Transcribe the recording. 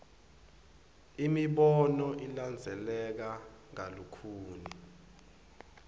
imibono ilandzeleka kalukhuni